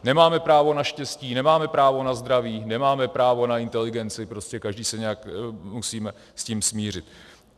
Nemáme právo na štěstí, nemáme právo na zdraví, nemáme právo na inteligenci, prostě každý se nějak musíme s tím smířit.